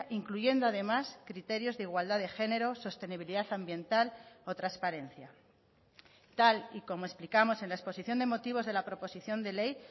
incluyendo además criterios de igualdad de género sostenibilidad ambiental o transparencia tal y como explicamos en la exposición de motivos de la proposición de ley